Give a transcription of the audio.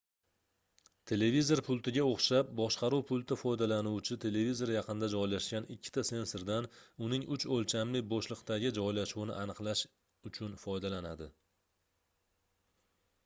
televizor pultiga oʻxshab boshqaruv pulti foydalanuvchi televizori yaqinida joylashgan ikkita sensordan uning uch oʻlchamli boʻshliqdagi joylashuvini aniqlash uchun foydalanadi